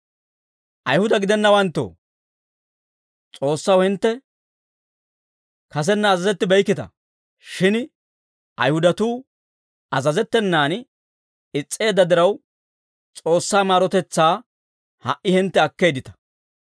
Ayihuda gidennawanttoo, S'oossaw hintte kasenna azazettibeykkita; shin Ayihudatuu azazettenan is's'eedda diraw, S'oossaa maarotetsaa ha"i hintte akkeeddita.